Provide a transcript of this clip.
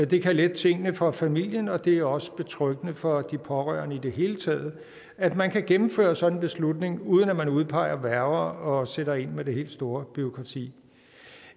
det kan lette tingene for familien og det er også betryggende for de pårørende i det hele taget at man kan gennemføre en sådan beslutning uden at udpege værger og sætter ind med det helt store bureaukrati